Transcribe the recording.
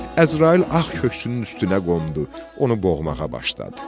Əzrail ağ köksünün üstünə qondu, onu boğmağa başladı.